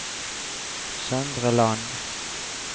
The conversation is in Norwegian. Søndre Land